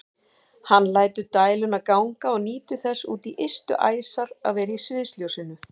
Hann lætur dæluna ganga og nýtur þess út í ystu æsar að vera í sviðsljósinu.